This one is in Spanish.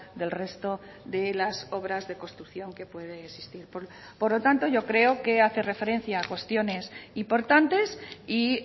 del resto de las obras de construcción que puede existir por lo tanto yo creo que hace referencia a cuestiones importantes y